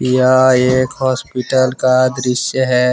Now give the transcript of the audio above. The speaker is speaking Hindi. यह एक हॉस्पिटल का दृश्य है।